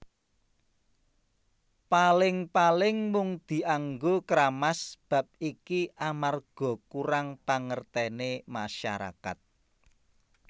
Paling paling mung dianggo kramas Bab iki amarga kurang pangertene masyarakat